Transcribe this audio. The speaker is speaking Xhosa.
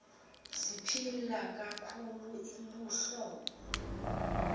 ziphila kakhulu luhlobo